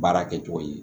Baara kɛcogo ye